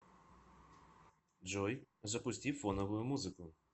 джой запусти фоновую музыку